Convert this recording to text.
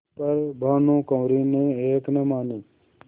पर भानुकुँवरि ने एक न मानी